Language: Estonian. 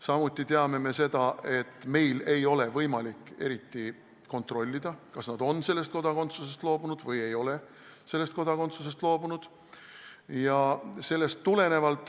Samuti teame seda, et meil ei ole võimalik eriti kontrollida, kas nad on sellest kodakondsusest loobunud või ei ole sellest kodakondsusest loobunud.